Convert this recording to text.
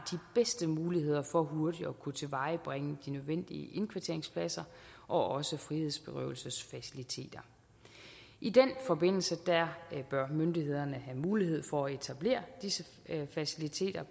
bedste muligheder for hurtigt at kunne tilvejebringe de nødvendige indkvarteringspladser og også frihedsberøvelsesfaciliteter i den forbindelse bør myndighederne have mulighed for at etablere disse faciliteter